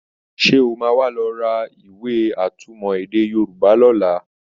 Sé o máa wá lọ ra ìwé atúmọ̀ èdè Yorùbá lọ́la?